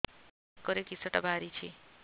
ବେକରେ କିଶଟା ବାହାରିଛି